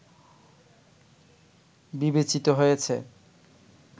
বিবেচিত হয়েছে